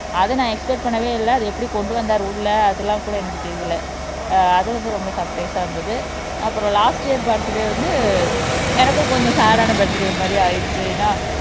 அதை நான் எஸ்பெக்ட் பண்ணவே இல்ல அத எப்படி கொண்டு வந்தாரு உள்ள அதெல்லாம் கூட எனக்கு தெரியலே அஹ் அது வந்து ரொம்ப சர்ப்ரைஸா இருந்தது அப்புறம் லாஸ்ட் இயர் பர்த்டே வந்து எனக்கும் கொஞ்சம் சேட் ஆன பர்த்டே மாதிரி ஆயிடுச்சு ஏன்னா